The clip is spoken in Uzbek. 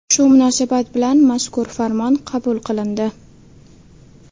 Shu munosabat bilan mazkur farmon qabul qilindi.